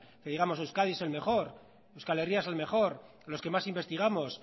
que digamos euskadi es el mejor euskal herria es el mejor los que más investigamos